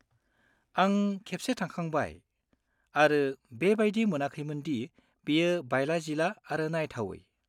आं खेबसे थांखांबाय, आरो बेबायदि मोनाखैमोन दि बेयो बायला-जिला आरो नायथावै।